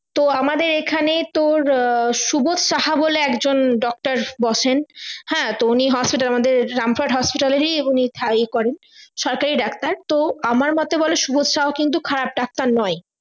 তো আমাদের এখানে তোর সুবোদ সাহা বলে একজন doctor বসেন হ্যাঁ তো উনি hospital আমাদের রামপুরহাট hospital এরই এ করেন সরকারি ডাক্তার তো আমার মোতে বলে সুবোদ সাহা কিন্তু খারাপ ডাক্তার নয়